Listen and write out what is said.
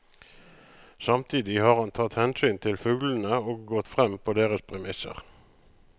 Samtidig har han tatt hensyn til fuglene og gått frem på deres premisser.